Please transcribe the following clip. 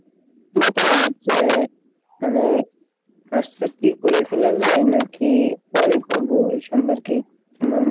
মানে masters কী করে ফেলা যাই নাকি পরে করবো এই সম্পর্কে তোমার,